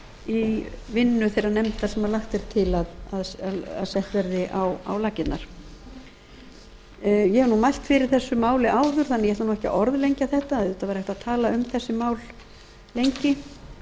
í vinnu þeirrar nefndar sem lagt er til að sett verði á laggirnar ég hef nú mælt fyrir þessu máli áður þannig að ég ætla ekki að orðlengja þetta auðvitað væri hægt að tala um þessi mál lengi en